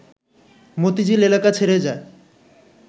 মতিঝিল এলাকা ছেড়ে যায়